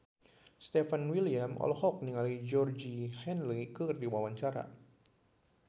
Stefan William olohok ningali Georgie Henley keur diwawancara